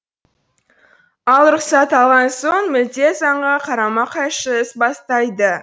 ал рұқсат алған соң мүлде заңға қарама қайшы іс бастайды